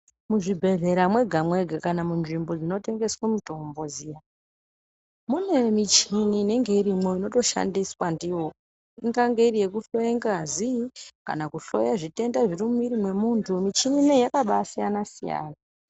Muzvibhedhlara mwega-mwega kana munzvimbo chinotendesa mutombo dziya. Mune michini inenge irimwo inotoshandiswa ndiyo ingange iri yekuhloya ngazi, kana kuhloya zvitenda zviri mumwiri mwemuntu, michini inoiyi yakabasiyana-siyana.